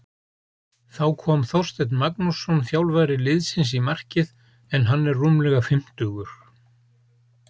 Þá kom Þorsteinn Magnússon þjálfari liðsins í markið en hann er rúmlega fimmtugur.